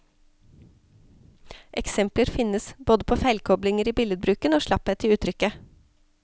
Eksempler finnes, både på feilkoblinger i billedbruken og slapphet i uttrykket.